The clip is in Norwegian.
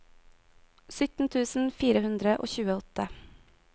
sytten tusen fire hundre og tjueåtte